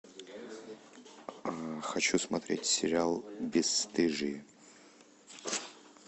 хочу смотреть сериал бесстыжие